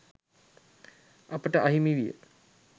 අපට අහිමි විය.